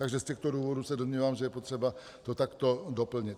Takže z těchto důvodů se domnívám, že je potřeba to takto doplnit.